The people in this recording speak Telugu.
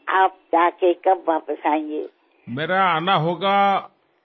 28వ తేదీ అర్థరాత్రి దాటాకా 29వ తేదీ తెల్లవారుఝామున